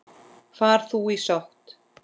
Far þú í sátt.